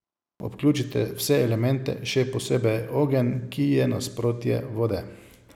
Vključite vse elemente, še posebej ogenj, ki je nasprotje vode.